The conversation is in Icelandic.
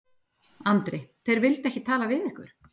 Andri: Þeir vildu ekki tala við ykkur?